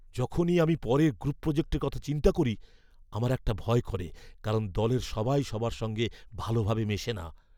যখনই আমি পরের গ্রুপ প্রোজেক্টের কথা চিন্তা করি আমার একটা ভয় করে, কারণ দলের সবাই সবার সঙ্গে ভালোভাবে মেশে না।